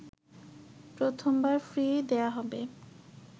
প্রথমবার ফ্রি দেয়া হবে